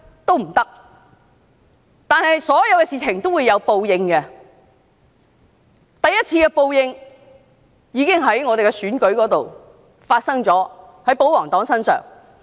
然而，所有的事情也會有報應，第一次的報應已經發生在區議會選舉結果上。